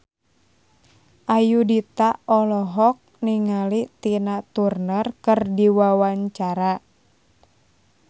Ayudhita olohok ningali Tina Turner keur diwawancara